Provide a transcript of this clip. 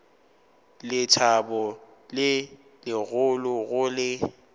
lethabo le legolo go le